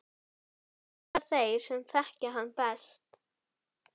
huggulega veitingastað okkar á Tuttugasta og fyrsta Austur